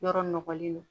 Yɔrɔ nɔgɔlen don